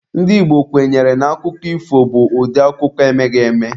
Ndị Igbo kwenyere na akụkọ ifo bụ ụdị akụkọ emeghị eme.